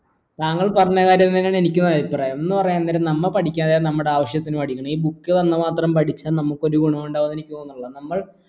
താങ്കൾ പറഞ്ഞ കാര്യം തന്നെയാണ് എനിക്ക് അഭിപ്രായം എന്ന് പറയുന്നരം നമ്മ പഠിക്കാന്ന് ഉണ്ടെങ്കിൽ നമ്മുടെ ആവശ്യത്തിന് പഠിക്കണം book വന്ന മാത്രം പഠിച്ച നമുക്ക് ഒരു ഗുണവും ഇണ്ടാവും എന്ന എനിക്ക് തോന്നണില്ല